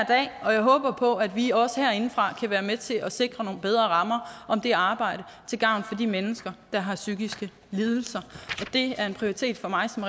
og jeg håber på at vi også herindefra kan være med til at sikre nogle bedre rammer om det arbejde til gavn for de mennesker der har psykiske lidelser det er en prioritet for mig som